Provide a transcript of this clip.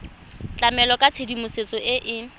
tlamela ka tshedimosetso e e